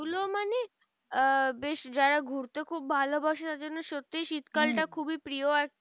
আ বেশ যারা ঘুরতে খুব ভালোবাসে তাদের জন্য সত্যি শীতকালটা খুবই প্রিয় আর